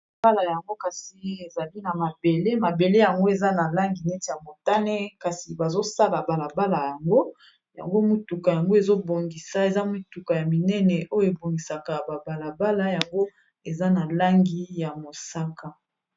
Balabala yango kasi ezali na mabele. Mabele yango, eza na langi neti ya motane. Kasi bazo sala balabala yango. Yango motuka yango, ezo bongisa. Eza motuka ya minene, oyo ebongisaka ba balabala. Yango eza na langi ya mosaka.